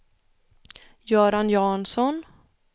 Göran Jansson